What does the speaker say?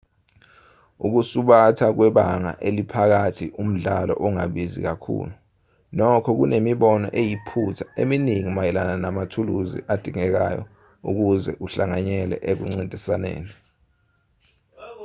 ukusubatha kwebanga eliphakathi umdlalo ongabizi kakhulu nokho kunemibono eyiphutha eminingi mayelana namathuzuli adingekayo ukuze uhlanganyele ekuncintisaneni